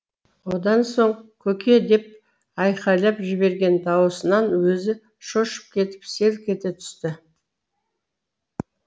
одан соң көке деп айқайлап жіберген дауысынан өзі шошып кетіп селк ете түсті